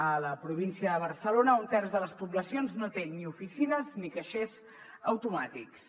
a la província de barcelona un terç de les poblacions no té ni oficines ni caixers automàtics